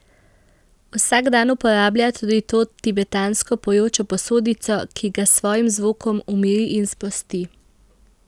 Vsak dan uporablja tudi to tibetansko pojočo posodico, ki ga s svojim zvokom umiri in sprosti.